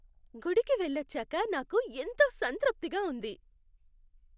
గుడికి వెళ్లొచ్చాక నాకు ఎంతో సంతృప్తిగా ఉంది.